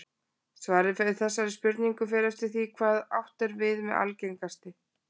Svarið við þessari spurningu fer eftir því hvað átt er við með algengasti.